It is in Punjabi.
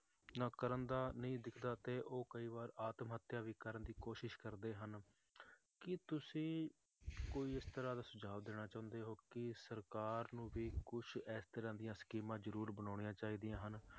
ਨਾ ਕਰਨ ਦਾ ਨਹੀਂ ਦਿਖਦਾ ਤੇ ਉਹ ਕਈ ਵਾਰ ਆਤਮ ਹੱਤਿਆ ਵੀ ਕਰਨ ਦੀ ਕੋਸ਼ਿਸ਼ ਕਰਦੇ ਹਨ ਕੀ ਤੁਸੀਂ ਕੋਈ ਇਸ ਤਰ੍ਹਾਂ ਦਾ ਸੁਝਾਵ ਦੇਣਾ ਚਾਹੁੰਦੇ ਹੋ ਕਿ ਸਰਕਾਰ ਨੂੰ ਵੀ ਕੁਛ ਇਸ ਤਰ੍ਹਾਂ ਦੀ ਸਕੀਮਾਂ ਜ਼ਰੂਰ ਬਣਾਉਣੀਆਂ ਚਾਹੀਦੀਆਂ ਹਨ,